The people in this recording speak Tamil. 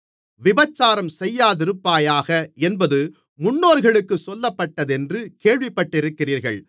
விபசாரம் செய்யாதிருப்பாயாக என்பது முன்னோர்களுக்குச் சொல்லப்பட்டதென்று கேள்விப்பட்டிருக்கிறீர்கள்